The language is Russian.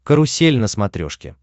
карусель на смотрешке